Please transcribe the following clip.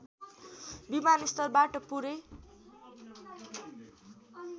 विमानस्थलबाट पुरै